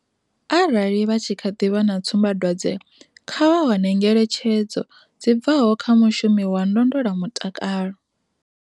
Arali vha tshi kha ḓi vha na tsumbadwadze, kha vha wane ngeletshedzo dzi bvaho kha mushumi wa ndondolamutakalo.